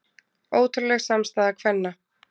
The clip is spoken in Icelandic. Ótrúleg samstaða kvenna